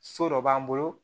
So dɔ b'an bolo